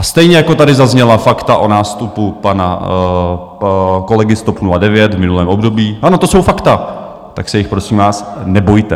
A stejně jako tady zazněla fakta o nástupu pana kolegy z TOP 09 v minulém období, ano, to jsou fakta, tak se jich prosím vás nebojte.